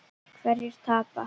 Hverjir tapa?